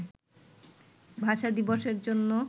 ভাষা দিবসের জন্য